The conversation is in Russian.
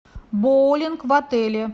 боулинг в отеле